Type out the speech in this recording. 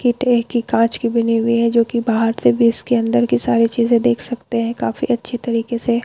कि ट्रे कि कांच कि बनी हुई है जो कि बाहार से भी इसके अंदर कि सारी चीजे देख सकते है काफी अच्छे तरिके से --